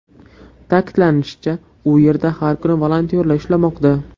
Ta’kidlanishicha, u yerda har kuni volontyorlar ishlamoqda.